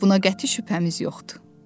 Buna qəti şübhəmiz yoxdur.